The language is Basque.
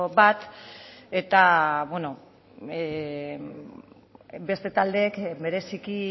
bat eta beste taldeek bereziki